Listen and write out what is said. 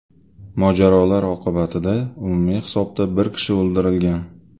Mojarolar oqibatida umumiy hisobda bir kishi o‘ldirilgan.